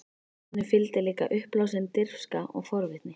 Henni fylgdi líka uppblásin dirfska og forvitni.